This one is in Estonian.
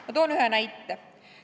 Ma toon ühe näite.